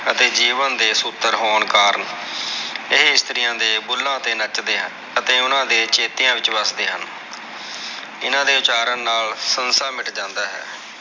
ਅਤੇ ਜੀਵਨ ਦੇ ਸੂਤਰ ਹੋਣ ਕਾਰਨ ਇਹ ਇਸਤਰੀਆਂ ਦੇ ਬੁੱਲ੍ਹਾ ਤੇ ਨੱਚਦੇ ਹਨ ਅਤੇ ਓਹਨਾ ਦੇ ਚੇਤਿਆਂ ਵਿਚ ਵਸਦੇ ਹਨ ਹਨ ਦੇ ਉਚਾਰਨ ਨਾਲ ਸੰਸਾ ਮਿੱਟ ਜਾਂਦਾ ਹੈ।